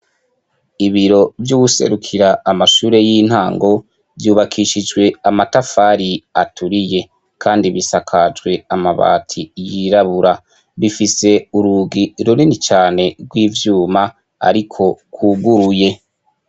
Ibiro vy'uwuserukira amashure y'intango, vyubakishijwe amatafari aturiye; kandi bisakajwe amabati yirabura. Bifise urugi runini cane rw'ivyuma ariko rwuguruye.